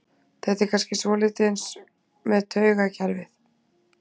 þetta er kannski svolítið eins með taugakerfið